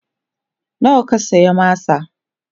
nawa ka saya masa?